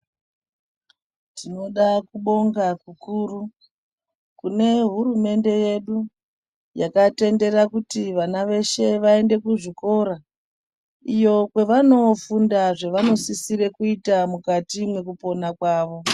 Tinoda kubonga kukuru kune hurumende yedu yakatendera kuti vana veshe vaende kuzvikora iyo kwavanofunda zvavanosisira kuita mukati mekupona kwavo